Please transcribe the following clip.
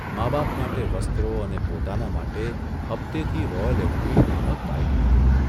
માં બાપ માટે વસ્ત્રો અને પોતાના માટે હપ્તેથી રોયલ એનફિલ્ડ 'નામક બાઇક ખરીદી.